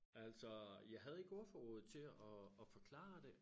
Altså øh jeg havde ikke ordforrådet til at at forklare det